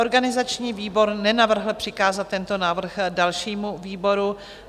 Organizační výbor nenavrhl přikázat tento návrh dalšímu výboru.